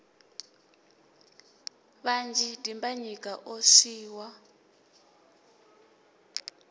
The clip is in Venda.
vhanzhi dimbanyika o swi wa